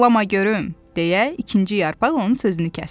Dolama görüm, deyə ikinci yarpaq onun sözünü kəsdi.